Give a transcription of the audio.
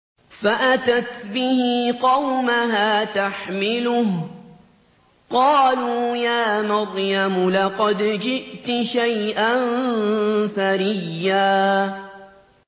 فَأَتَتْ بِهِ قَوْمَهَا تَحْمِلُهُ ۖ قَالُوا يَا مَرْيَمُ لَقَدْ جِئْتِ شَيْئًا فَرِيًّا